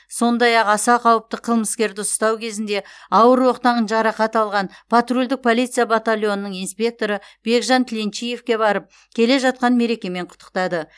сондай ақ аса қауіпті қылмыскерді ұстау кезінде ауыр оқтан жарақат алған патрульдік полиция батальонының инспекторы бекжан тіленчиевке барып келе жатқан мерекемен құттықтады